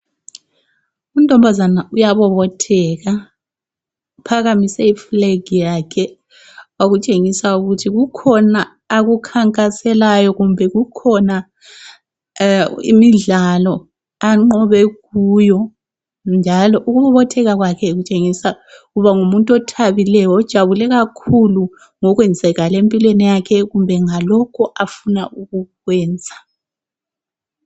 Untombazana uyabobotheka. Uphakamise iflag yakhe okushengisa ukuthi kukhona akukhankaselayo kumbe kukhona imidlalo anqobe kuyo njalo ukubobotheka kwakhe kutshengisa ukuba ngumuntu othabileyo ojabule kakhulu ngokwenzakale empilweni yakhe kumbe ngalokho afuna ukukwenza.